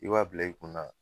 I b'a bila i kunna